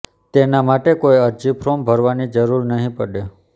તેના માટે કોઈ અરજી ફોર્મ ભરવાની જરૂર નહીં પડે